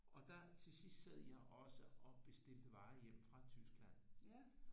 Og der til sidst sad jeg også og bestilte varer hjem fra Tyskland